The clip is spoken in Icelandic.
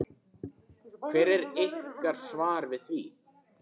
Hvert er ykkar svar við því?